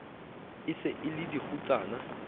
e se e le dikgutsana